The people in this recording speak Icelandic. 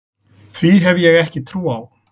Því hef ég ekki trú á.